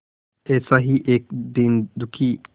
ऐसा ही एक दीन दुखी